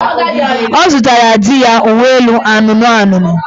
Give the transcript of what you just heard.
Ọ zụtara di ya uweelu anụnụanụnụ